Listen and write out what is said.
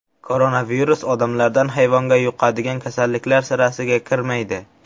Koronavirus odamlardan hayvonga yuqadigan kasalliklar sirasiga kirmaydi.